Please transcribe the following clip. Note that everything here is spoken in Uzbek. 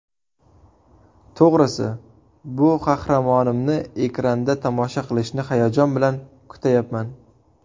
To‘g‘risi, bu qahramonimni ekranda tomosha qilishni hayajon bilan kutayapman.